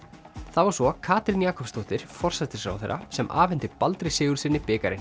það var svo Katrín Jakobsdóttir forsætisráðherra sem afhenti Baldri Sigurðssyni bikarinn